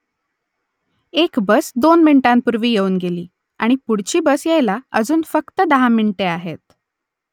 एक बस दोन मिनिटांपूर्वी येऊन गेली आणि पुढची बस यायला अजून फक्त दहा मिनिटे आहेत